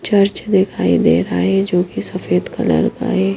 Church दिखाई दे रहा है जो कि सफेद कलर का है।